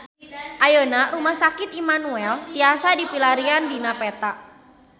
Ayeuna Rumah Sakit Immanuel tiasa dipilarian dina peta